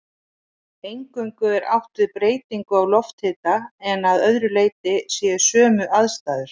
Eingöngu er átt við breytingu á lofthita en að öðru leyti séu sömu aðstæður.